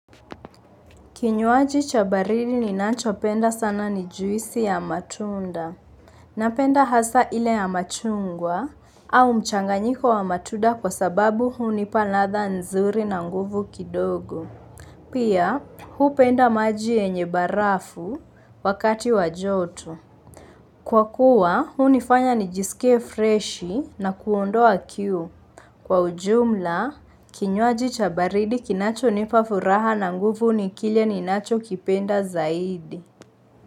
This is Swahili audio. Kinywaji cha baridi ninacho penda sana ni juisi ya matunda. Napenda hasa ile ya machungwa au mchanganyiko wa matunda kwa sababu hunipa ladha nzuri na nguvu kidogo. Pia, hupenda maji yenye barafu wakati wa joto. Kwa kuwa, hunifanya nijisike freshi na kuondoa kiu. Kwa ujumla, kinywaji cha baridi kinacho nipa furaha na nguvu ni kile ninacho kipenda zaidi.